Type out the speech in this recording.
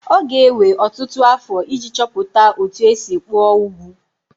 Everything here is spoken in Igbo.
Ọ ga-ewe ọtụtụ afọ iji chọpụta otú e si kpụọ ugwu